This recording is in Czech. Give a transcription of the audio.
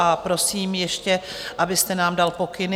A prosím ještě, abyste nám dal pokyny.